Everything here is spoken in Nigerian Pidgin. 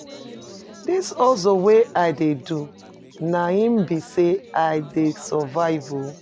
Dis hustle wey I dey do, na im be sey I dey survive o.